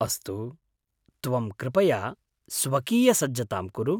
अस्तु, त्वं कृपया स्वकीयसज्जतां कुरु।